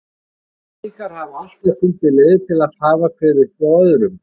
Barnaníðingar hafa alltaf fundið leiðir til að hafa hver uppi á öðrum.